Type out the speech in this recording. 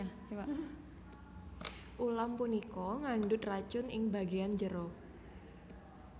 Ulam punika ngandhut racun ing bagéyan jero